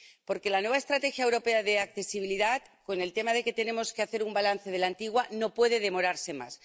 Porque la nueva Estrategia Europea sobre Discapacidad, con el tema de que tenemos que hacer un balance de la antigua, no puede demorarse más.